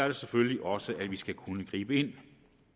det selvfølgelig også at vi skal kunne gribe ind